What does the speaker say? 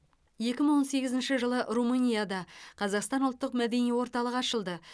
екі мың он сегізінші жылы румынияда қазақстан ұлттық мәдени орталығы ашылды